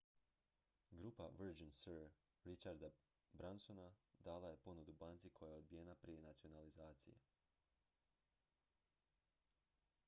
grupa virgin sir richarda bransona dala je ponudu banci koja je odbijena prije nacionalizacije